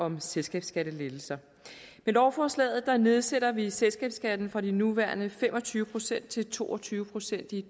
om selskabsskattelettelser med lovforslaget nedsætter vi selskabsskatten fra de nuværende fem og tyve procent til to og tyve procent i